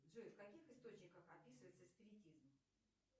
джой в каких источниках описывается спиритизм